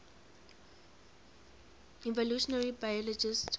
evolutionary biologists